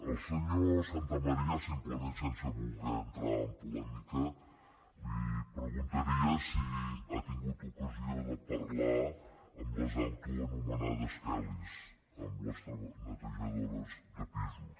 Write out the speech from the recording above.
al senyor santamaría simplement sense voler entrar en polèmica li preguntaria si ha tingut ocasió de parlar amb les autoanomenades kellys amb les netejadores de pisos